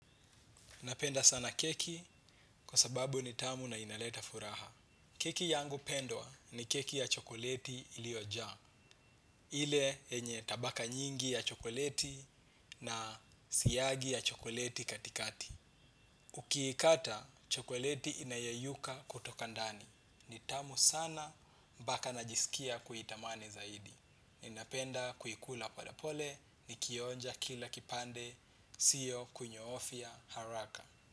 Napenda sana keki kwa sababu ni tamu na inaleta furaha. Keki yangu pendwa ni keki ya chokoleti iliojaa. Ile enye tabaka nyingi ya chokoleti na siyagi ya chokoleti katikati. Ukiikata, chokoleti inayeyuka kutoka ndani. Ni tamu sana mpaka najisikia kuitamani zaidi. Ninapenda kuikula polepole ni kionja kila kipande. Sio kunyoofia haraka.